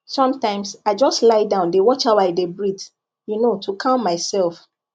sometimes i just lie down dey watch how i dey breathe you know to calm myself